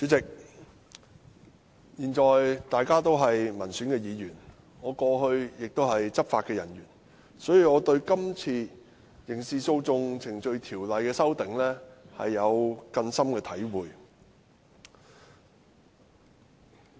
主席，我現在是民選議員，過去曾是執法人員，所以我對這次《刑事訴訟程序條例》的擬議修訂有很深的體會。